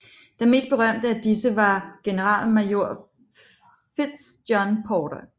Den meste berømte af disse var generalmajor Fitz John Porter